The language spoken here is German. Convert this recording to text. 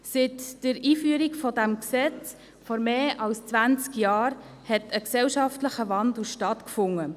Seit der Einführung dieses Gesetzes vor mehr als zwanzig Jahren hat ein gesellschaftlicher Wandel stattgefunden.